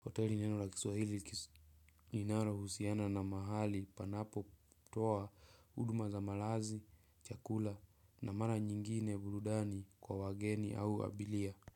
Hoteli ni neno la kiswahili linalo husiana na mahali panapotoa huduma za malazi, chakula na mara nyingine burudani kwa wageni au abiria.